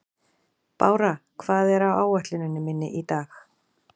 Bára, hvað er á áætluninni minni í dag?